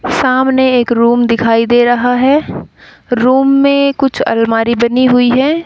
सामने एक रूम दिखाई दे रहा है रूम मे कुछ आलमारी बनी हुई है।